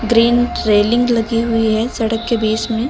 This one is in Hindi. ग्रीन रेलिंग लगी हुई है सड़क के बीच में।